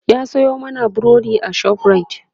ya Sayo mana burodi a shoprite